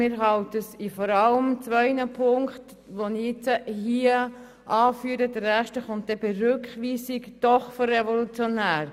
Wir halten es aber für vor allem in zwei Punkten, die ich jetzt hier ausführe, doch für revolutionär.